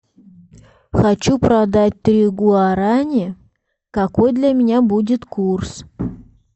хочу продать три гуарани какой для меня будет курс